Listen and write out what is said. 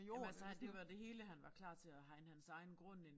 Jamen altså det var det hele han var klar til at hegne hans egen grund ind